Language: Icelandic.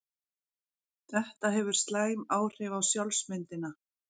Þetta hefur slæm áhrif á sjálfsmyndina.